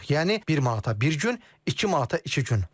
Yəni bir manata bir gün, iki manata iki gün.